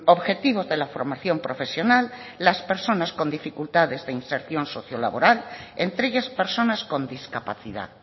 objetivos de la formación profesional las personas con dificultades de inserción socio laboral entre ellas personas con discapacidad